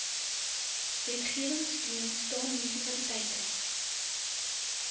wetgewingsteun staan munisipaliteite